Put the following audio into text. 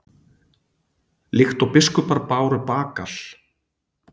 Líkt og biskupar báru bagal?